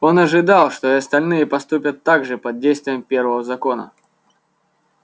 он ожидал что и остальные поступят так же под действием первого закона